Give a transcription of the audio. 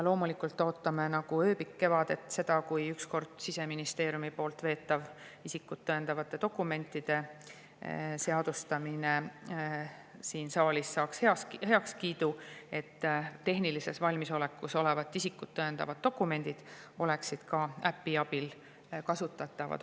Loomulikult ootame nagu ööbik kevadet, et ükskord Siseministeeriumi veetav isikut tõendavate dokumentide seaduse saaks siin saalis heakskiidu, et tehnilises valmisolekus olevad isikut tõendavad dokumendid oleksid äpi abil kasutatavad.